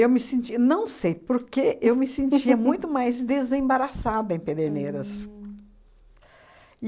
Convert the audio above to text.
me senti... Não sei por quê, eu me sentia muito mais desembaraçada em Pederneiras.